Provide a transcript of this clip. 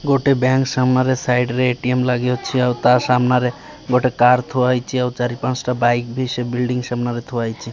ଗୋଟେ ବ୍ୟାଙ୍କ ସାମ୍ନାରେ ସାଇଡରେ ଏ_ଟି_ଏମ ଲାଗିଅଛି ଆଉ ତା ସାମ୍ନାରେ ଗୋଟେ କାର ଥୁଆ ହୋଇଛି ଆଉ ଚାରିପାଞ୍ଚଟା ବାଇକ ବି ସେ ବିଲଡ଼ିଂ ସାମ୍ନାରେ ଥୁଆ ହୋଇଛି।